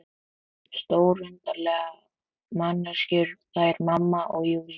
Stórundarlegar manneskjur, þær mamma og Júlía.